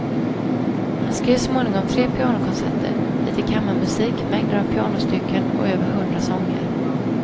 Han skrev småningom tre pianokonserter, lite kammarmusik, mängder av pianostycken och över hundra sånger.